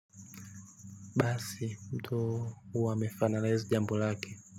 Basi mtu wamefinalize jambo lake.